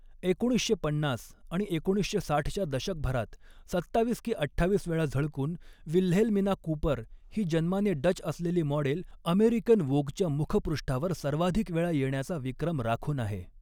एकोणीसशे पन्नास आणि एकोणीसशे साठच्या दशकभरात सत्तावीस की अठ्ठावीस वेळा झळकून, विल्हेल्मिना कूपर ही जन्माने डच असलेली मॉडेल अमेरिकन वोगच्या मुखपृष्ठावर सर्वाधिक वेळा येण्याचा विक्रम राखून आहे.